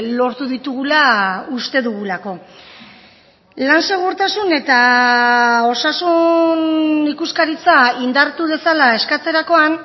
lortu ditugula uste dugulako lan segurtasun eta osasun ikuskaritza indartu dezala eskatzerakoan